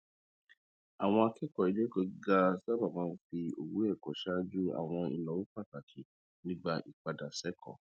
àwọn akẹkọọ iléẹkọ gíga sábà máa ń fi owó ẹkọ ṣáájú àwọn ináwó pàtàkì nígbà ìpadà sẹkọọ